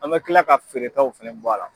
An bɛ kila ka feeretaw fana bɔ a la.